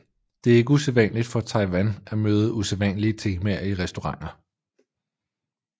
Det er ikke usædvanligt for Taiwan at møde usædvanlige temaer i restauranter